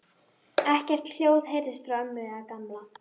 Ekkert hljóð heyrðist frá ömmu eða Gamla.